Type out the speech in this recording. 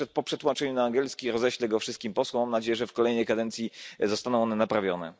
Po przetłumaczeniu na angielski roześlę go wszystkim posłom. Mam nadzieję, że w kolejnej kadencji zostaną one naprawione.